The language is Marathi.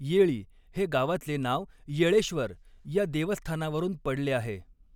येळी हे गावाचे नाव येळेश्व़र या देवस्थानावरून पडले आहे.